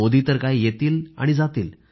मोदी तर काय येतील आणि जातील